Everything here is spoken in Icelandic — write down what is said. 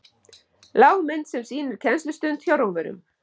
lágmynd sem sýnir kennslustund hjá rómverjum